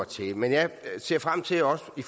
til men jeg ser frem til også i